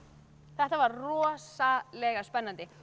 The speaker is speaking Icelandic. þetta var rosalega spennandi